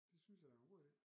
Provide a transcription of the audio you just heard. Det synes jeg da er en god idé